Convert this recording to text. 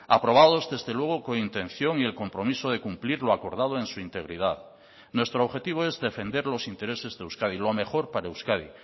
aprobados desde luego con intención y el compromiso de cumplir lo acordado en su integridad nuestro objetivo es defender los intereses de euskadi lo mejor para euskadi